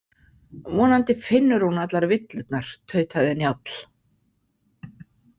Vonandi finnur hún allar villurnar, tautaði Njáll.